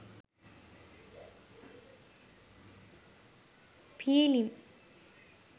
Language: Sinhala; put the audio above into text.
pilem